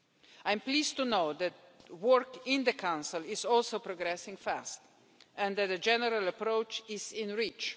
I am pleased to know that work in the Council is also progressing fast and that a general approach is in reach.